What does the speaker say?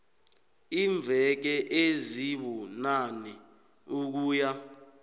iimveke ezibunane ukuya